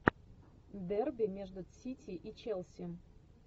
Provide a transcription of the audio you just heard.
дерби между сити и челси